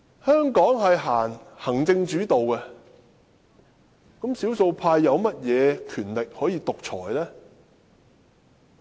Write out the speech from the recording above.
香港政制以行政為主導，少數派有何權力可以獨裁？